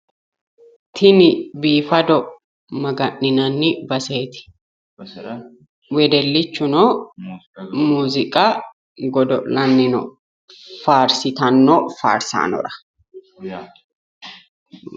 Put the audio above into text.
Tini biifado maga'ninanni baseeti. Wedellichuno muuziiqa godo'lanni no faarsitanno faarsaanora.